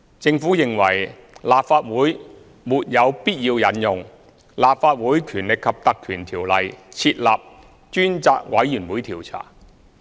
政府認為立法會沒有必要引用《立法會條例》設立專責委員會調查。